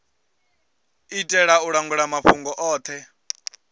itela u langula mafhungo othe